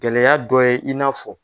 Gɛlɛya dɔ ye i n'a fɔ